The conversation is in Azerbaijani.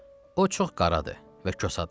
O çox qaradır və kosadır.